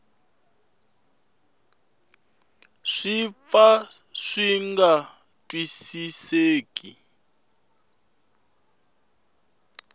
swi pfa swi nga twisiseki